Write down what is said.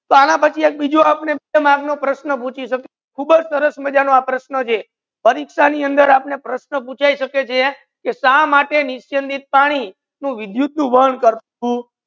આના પછી એક બીજુ આપને ક્રમાંક નો પ્રશ્ન પૂછી શકુ ખુબજ સરસ મજા ના આ પ્રશ્ન છે પરિક્ષા ની અંદર આપને પ્રશ્ન પૂછાઈ શકે છે કે શા માટે નિચે પાણી વિધુત વન નથી કરતુ